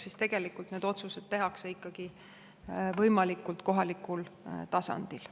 Ehk tegelikult need otsused tehakse võimalikult kohalikul tasandil.